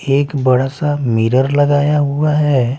एक बड़ा सा मिरर लगाया हुआ हैं।